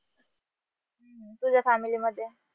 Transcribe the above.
तुझ्या family मध्ये